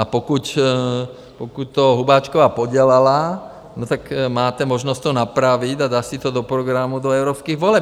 A pokud to Hubáčková podělala, no tak máte možnost to napravit a dát si to do programu do evropských voleb.